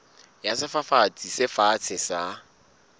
ya sefafatsi se fatshe sa